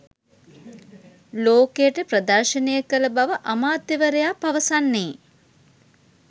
ලෝකයට ප්‍රදර්ශනය කළ බව අමාත්‍යවරයා පවසන්නේ.